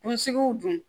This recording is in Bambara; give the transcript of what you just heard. Kunsigiw dun